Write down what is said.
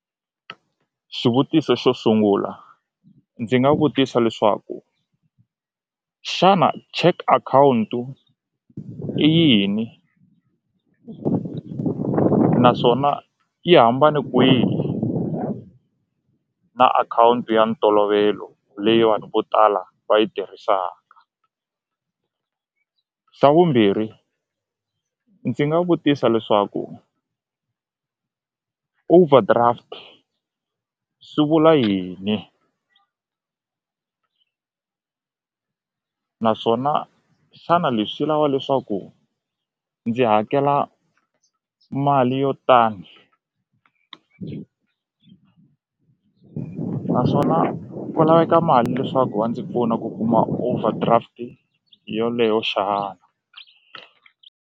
Xivutiso xo sungula ndzi nga vutisa leswaku xana check akhawuntu i yini naswona yi hambane kwihi na akhawunti ya ntolovelo leyi vanhu vo tala va yi tirhisaka xa vumbirhi ndzi nga vutisa leswaku overdraft swi vula yini naswona xana leswi lava leswaku ndzi hakela mali yo tani naswona ku laveka mali leswaku va ndzi pfuna ku kuma overdraft yoleyo xana.